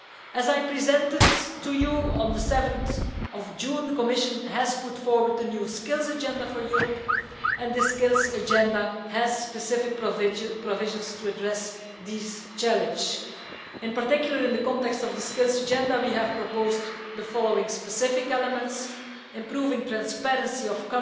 As I presented to you on 7 June, the Commission has put forward the New Skills Agenda for Europe and this Skills Agenda has specific provisions to address this challenge. In particular, in the context of the Skills Agenda, we have proposed the following specific elements improving transparency of